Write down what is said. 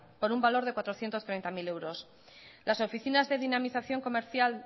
por un valor de cuatrocientos treinta mil euros las oficinas de dinamización comercial